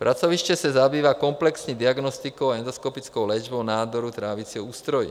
Pracoviště se zabývá komplexní diagnostikou a endoskopickou léčbou nádorů trávicího ústrojí.